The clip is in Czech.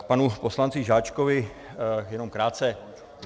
K panu poslanci Žáčkovi jenom krátce.